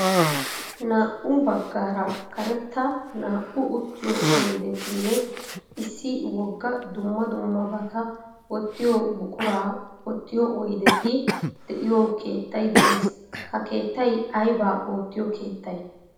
Naa"u baggaara karetta naa"u uttiyo oydetinne issi wogga dumma dummabata wottiyo buquraa wottiyo oydeti de"iyoo keettay de'ees. Ha keettay aybaa oottiyo keettay?